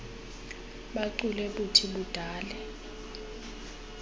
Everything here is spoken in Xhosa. buchule buthi budale